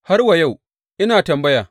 Har wa yau, ina da tambaya.